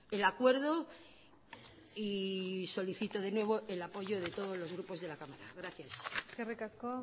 el acuerdo y solicito de nuevo el apoyo de todos los grupos de la cámara gracias eskerrik asko